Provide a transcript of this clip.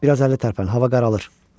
Bir az əlli tərpən, hava qaralır.